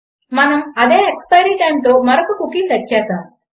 మనం అదే ఎక్స్పైరి టైమ్తో మరొక కుకీ సెట్ చేసాము